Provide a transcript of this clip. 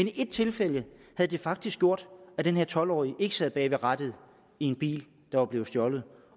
i et tilfælde havde det faktisk gjort at den her tolv årige ikke sad bag rattet i en bil der var blevet stjålet